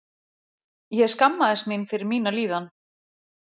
Ég skammaðist mín fyrir mína líðan!